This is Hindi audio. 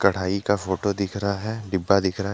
पढ़ाई का फोटो दिख रहा है डिब्बा दिख रहा है।